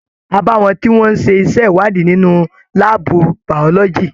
A bá wọn tí wọn n ṣe iṣẹ ìwádìí nínú láàbù biology.